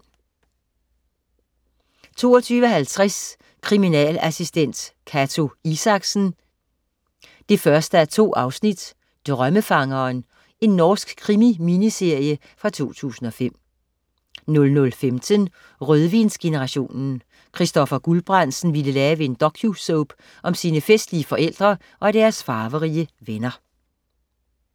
22.50 Kriminalassistent Cato Isaksen: 1:2 Drømmefangeren. Norsk krimi-miniserie fra 2005 00.15 Rødvinsgenerationen. Christoffer Guldbrandsen ville lave en docu-soap om sine festlige forældre og deres farverige venner